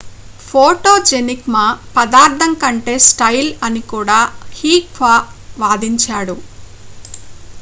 photogenic మా పదార్ధం కంటే స్టైల్ అని కూడా హ్సీహ్ వాదించాడు